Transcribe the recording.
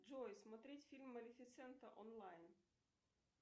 джой смотреть фильм малефисента онлайн